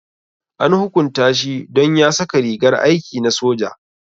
An hukunta shi don ya saka rigar aiki na soja.